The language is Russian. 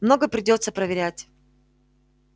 много придётся проверять